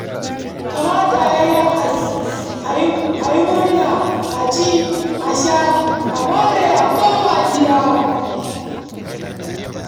Kamata ya yi a taya murna a ci a sha a more a koma gida.